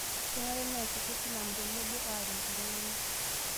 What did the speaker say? Kenare neesisho silamu tenebo aaret iltung'ana